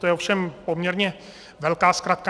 To je ovšem poměrně velká zkratka.